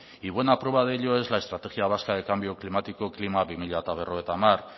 y buena prueba de ello es la estrategia vasca de cambio climático klima dos mil cincuenta